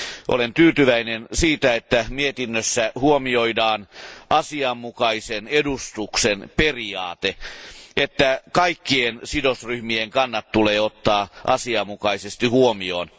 Olen tyytyväinen, että mietinnössä huomioidaan asianmukaisen edustuksen periaate, jonka mukaan kaikkien sidosryhmien kannat tulee ottaa asianmukaisesti huomioon.